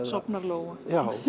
sofnar lóan